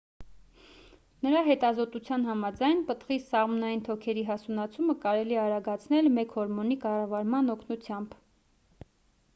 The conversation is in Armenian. նրա հետազոտության համաձայն պտղի սաղմնային թոքերի հասունացումը կարելի է արագացնել մեկ հորմոնի կառավարման օգնությամբ